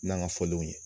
N'an ka fɔlenw ye